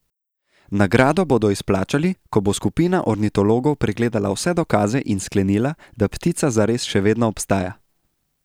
Nagrado bodo izplačali, ko bo skupina ornitologov pregledala vse dokaze in sklenila, da ptica zares še vedno obstaja.